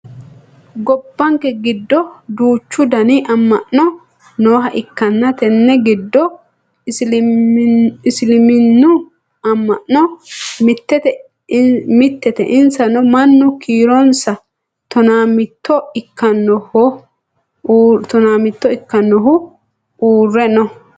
gobbanke giddo duuchu dani amma'no nooha ikkanna tenne giddono isiliminnu amma'no mittete insano mannu kiironsa tonaa mitto ikkannaohu uurre no